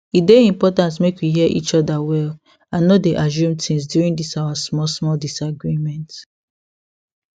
e dey important make we hear each other well and no dey assume things during this our small small disagreement